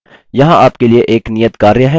यहाँ आपके लिए एक नियतकार्य है